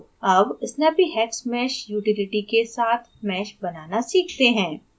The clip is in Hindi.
अब snappyhexmesh utility के साथ mesh बनाना सीखते हैं